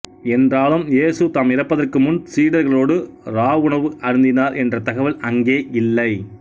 என்றாலும் இயேசு தாம் இறப்பதற்கு முன் சீடர்களோடு இராவுணவு அருந்தினார் என்ற தகவல் அங்கே இல்லை